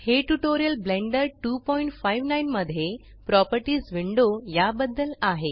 हे tutorial Blender 259 मध्ये properties window या बद्दल आहे